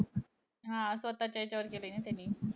हा. स्वतःच्या ह्याच्यावर केलंय ना त्यानी.